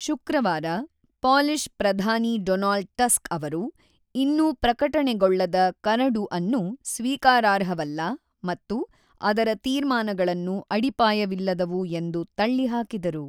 ಶುಕ್ರವಾರ, ಪೋಲಿಷ್ ಪ್ರಧಾನಿ Donald Tusk ಅವರು ಇನ್ನೂ ಪ್ರಕಟಣೆಗೊಳ್ಳದ ಕರಡು ಅನ್ನು ಸ್ವೀಕಾರಾರ್ಹವಲ್ಲ ಮತ್ತು ಅದರ ತೀರ್ಮಾನಗಳನ್ನು ಅಡಿಪಾಯವಿಲ್ಲದವು ಎಂದು ತಳ್ಳಿ ಹಾಕಿದರು.